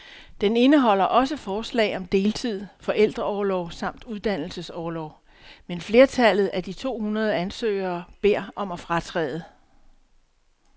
Den indeholder også forslag om deltid, forældreorlov samt uddannelsesorlov, men flertallet af de to hundrede ansøgere beder om at fratræde.